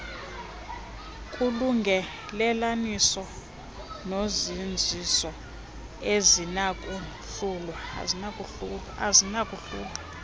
kulungelelaniso nozinziso azinakuhlulwa